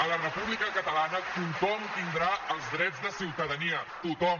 a la república catalana tothom tindrà els drets de ciutadania tothom